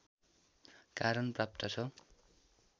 कारण प्राप्त छ